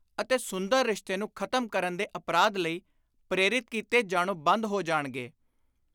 ਅਤੇ ਸੁੰਦਰ ਰਿਸ਼ਤੇ ਨੂੰ ਖ਼ਤਮ ਕਰਨ ਦੇ ਅਪਰਾਧ ਲਈ ਪ੍ਰੇਰਿਤ ਕੀਤੇ ਜਾਣੋਂ ਬੰਦ ਹੋ ਜਾਣਗੇ।